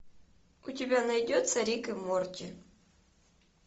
у тебя найдется рик и морти